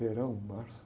Verão, março.